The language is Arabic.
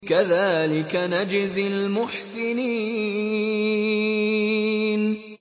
كَذَٰلِكَ نَجْزِي الْمُحْسِنِينَ